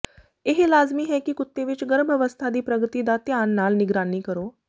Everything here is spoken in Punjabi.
ਇਹ ਲਾਜ਼ਮੀ ਹੈ ਕਿ ਕੁੱਤੇ ਵਿਚ ਗਰਭ ਅਵਸਥਾ ਦੀ ਪ੍ਰਗਤੀ ਦਾ ਧਿਆਨ ਨਾਲ ਨਿਗਰਾਨੀ ਕਰੋ